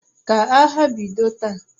Ka agha bido taa!